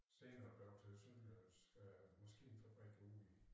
Senere blev til Sønderjyllands øh maskinefabrik ude i